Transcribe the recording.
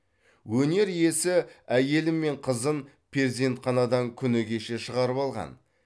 өнер иесі әйелі мен қызын перзентханадан күні кеше шығарып алған